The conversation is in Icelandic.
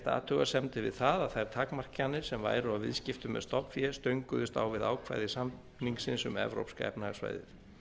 athugasemdir við það að þær takmarkanir sem væru á viðskiptum með stofnfé stönguðust á við ákvæði samningsins um evrópska efnahagssvæðið